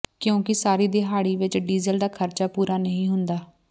ਕਿਉਂਕਿ ਸਾਰੀ ਦਿਹਾੜੀ ਵਿਚ ਡੀਜ਼ਲ ਦਾ ਖਰਚਾ ਪੂਰਾ ਨਹੀ ਹੁੰਦਾ